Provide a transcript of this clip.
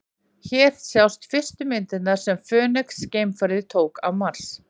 Hér sjást fyrstu myndirnar sem Fönix-geimfarið tók á Mars.